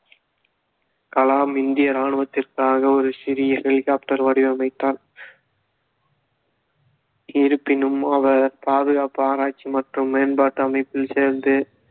கலாம் இந்திய இராணுவத்திற்காக ஒரு சிறிய ஹெலிகாப்டர் வடிவமைத்தார் இருப்பினும் அவர் பாதுகாப்பு ஆராய்ச்சி மற்றும் மேம்பாட்டு அமைப்பில் சேர்ந்து